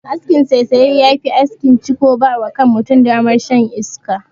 Askin saisaya ya fi askin "ciko" ba wa kan mutum damar shan iska.